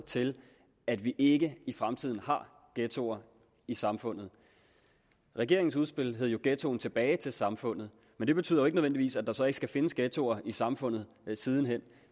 til at vi ikke i fremtiden har ghettoer i samfundet regeringens udspil hed jo ghettoen tilbage til samfundet men det betyder ikke nødvendigvis at der så ikke skal findes ghettoer i samfundet siden hen